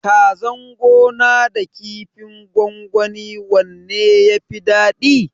Kazan gona da kifin gwangwani wanne yafi dadi?